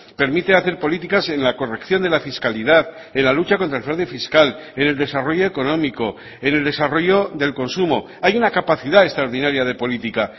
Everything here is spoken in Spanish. permite hacer políticas en la corrección de la fiscalidad en la lucha contra el fraude fiscal en el desarrollo económico en el desarrollo del consumo hay una capacidad extraordinaria de política